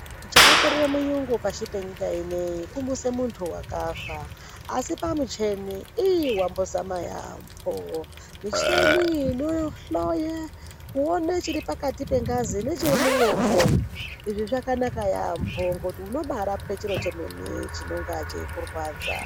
Chakakorere murungu pashi penyika inei kumuse muntu wakafa asi pamicheni iiii wambozama yambo, micheni inohloya kuone chiri pakati pengazi nechiri mumwongo izvi zvakanaka yambo ngokuti unobarapwe chiro chemene chinonga cheikurwadza.